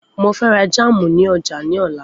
Mo fẹ ra jámù ní ọjà ní ọ̀la.